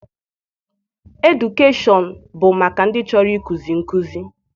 Edukeshọn bụ maka ndị chọrọ ikuzi nkụzi